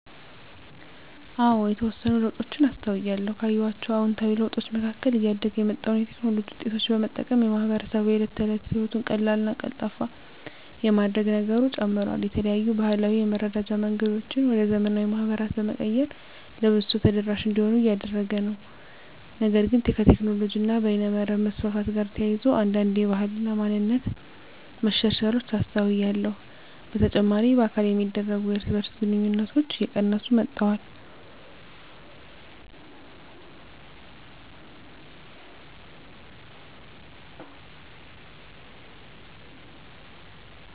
አዎ የተወሰኑ ለውጦችን አስተውያለሁ። ካየኋቸው አዉንታዊ ለውጦች መካከል እያደገ የመጣውን የቴክኖሎጂ ዉጤቶች በመጠቀም ማህበረሰቡ የእለት ተለት ህይወቱን ቀላልና ቀልጣፋ የማድረግ ነገሩ ጨምሯል። የተለያዩ ባህላዊ የመረዳጃ መንገዶችን ወደ ዘመናዊ ማህበራት በመቀየር ለብዙ ሰው ተደራሽ እንዲሆኑ እያደረገ ነው። ነገር ግን ከቴክኖሎጂ እና በይነመረብ መስፋፋት ጋር ተያይዞ አንዳንድ የባህል እና ማንነት መሸርሸሮች አስተውያለሁ። በተጨማሪ በአካል የሚደረጉ የእርስ በእርስ ግንኙነቶች እየቀነሱ መጥተዋል።